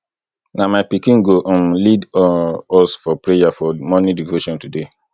na my pikin go um lead um us for prayer for morning devotion today